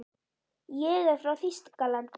Ég er frá Þýskalandi.